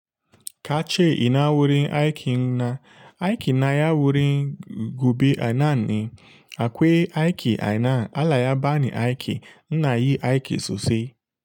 Ka ce ina wurin aikin na, aikin na ya wurin gobe anan ne, akwai aiki anan, allah ya ba ni aiki, ina yi aiki sosai.